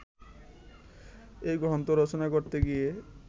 এ গ্রন্থ রচনা করতে গিয়ে